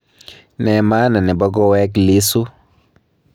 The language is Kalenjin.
Ne maana nebo koweek Lissu